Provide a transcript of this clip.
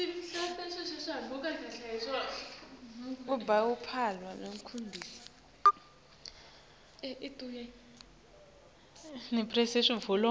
babe luphawu lwekutinikela